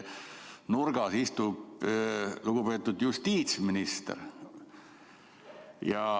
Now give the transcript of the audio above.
Nurgas istub lugupeetud justiitsminister.